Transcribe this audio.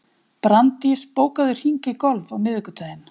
Branddís, bókaðu hring í golf á miðvikudaginn.